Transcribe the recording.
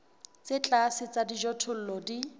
tse tlase tsa dijothollo di